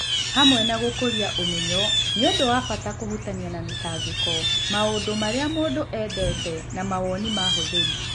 Hamwe na gũkũria ũmenyo, nĩ ũndũ wa bata kũhutania na mĩtangĩko, maũndũ marĩa mũndũ endete, na mawoni ma ahũthĩri.